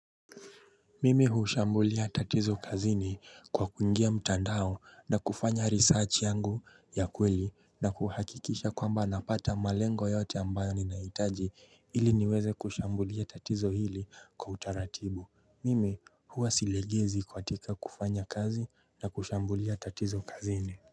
Mimi hushambulia tatizo kazini kwa kuingia mtandao na kufanya research yangu ya kweli na kuhakikisha kwamba napata malengo yote ambayo ninahitaji ili niweze kushambulia tatizo hili kwa utaratibu. Mimi huwa silegezi katika kufanya kazi na kushambulia tatizo kazini.